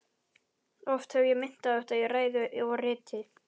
Oft hef ég minnt á þetta í ræðu og riti.